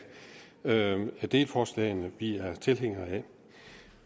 hvilke af delforslagene vi er tilhængere af